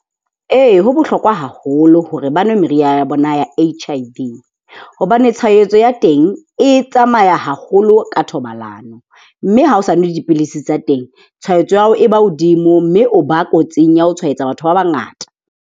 Ee, ho bohlokwa haholo hore ba nwe meriana ya H_I_V, hobane tshwahetso ya teng e tsamaya haholo ka thobalano. Mme ha o sa nwe dipilisi tsa teng tshwahetso ya hao e ba hodimo mme o ba kotsing ya ho tshwaetsa batho ba bangata.